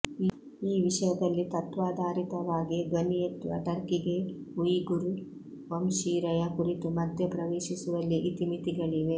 ಈ ವಿಷಯದಲ್ಲಿ ತತ್ವಾಧಾ ರಿತವಾಗಿ ಧ್ವನಿಯೆತ್ತುವ ಟರ್ಕಿಗೆ ಉಯಿಗುರ್ ವಂಶೀರಯ ಕುರಿತು ಮಧ್ಯ ಪ್ರವೇಶಿಸುವಲ್ಲಿ ಇತಿ ಮಿತಿಗಳಿವೆ